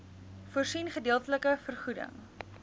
voorsien gedeeltelike vergoeding